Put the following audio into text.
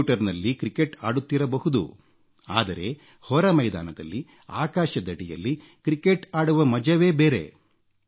ಕಂಪ್ಯೂಟರ್ನಲ್ಲಿ ಕ್ರಿಕೆಟ್ ಆಡುತ್ತಿರಬಹುದು ಆದರೆ ಹೊರ ಮೈದಾನದಲ್ಲಿ ಆಕಾಶದಡಿಯಲ್ಲಿ ಕ್ರಿಕೆಟ್ ಆಡುವ ಮಜವೇ ಬೇರೇ